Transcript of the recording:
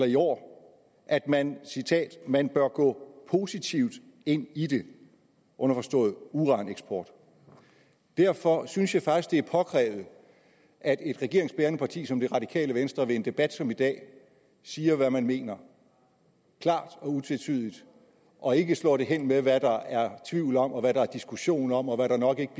i år at man man bør gå positivt ind i det underforstået i uraneksport derfor synes jeg faktisk det er påkrævet at et regeringsbærende parti som det radikale venstre ved en debat som i dag siger hvad man mener klart og utvetydigt og ikke slår det hen med at sige hvad der er tvivl om hvad der er diskussion om og hvad det nok ikke